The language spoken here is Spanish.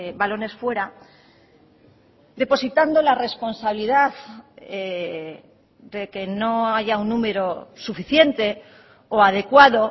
balones fuera depositando la responsabilidad de que no haya un número suficiente o adecuado